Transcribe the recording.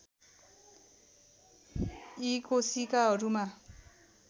यी कोशिकाहरूमा